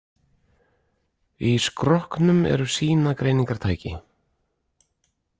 Í skrokknum eru sýnagreiningartæki.